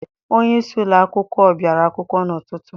Onyeisi ụlọakwụkwọ bịara akwụkwọ n'ụtụtụ.